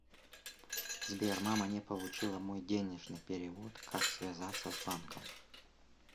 сбер мама не получила мой денежный перевод как связаться с банком